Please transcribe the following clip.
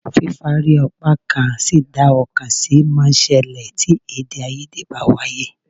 Fífárí apákan sí dá ọ̀kan sí máa ń ṣẹlẹ̀ tí èdèàìyedè bá ń wáyé